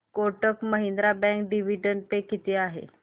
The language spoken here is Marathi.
Kotak Mahindra bank dividend pay किती आहे